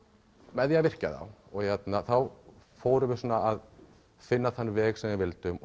með því að virkja þá þá fórum við að finna þann veg sem við vildum